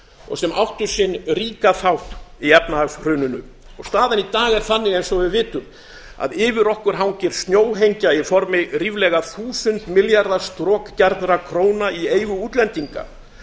og sem áttu sinn ríka þátt í efnahagshruninu staðan í dag er þannig eins og við vitum að yfir okkur hangir snjóhengja í formi ríflega þúsund milljarða strokgjarnra króna í eigu útlendinga